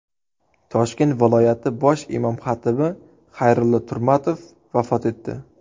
Toshkent viloyati bosh imom-xatibi Xayrulloh Turmatov vafot etdi.